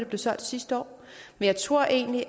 blev solgt sidste år men jeg tror egentlig